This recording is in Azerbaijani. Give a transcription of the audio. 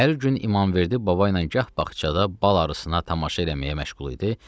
Hər gün İmamverdi baba ilə gah bağçada bal arısına tamaşa eləməyə məşğul idi,